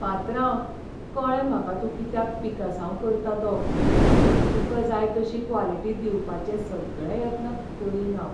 पात्रांव, कळ्ळें म्हाका तूं कित्याक पिकासांव करता तो. तुका जाय तशी क्वालिटी दिवपाचे सगळे यत्न करीन हांव.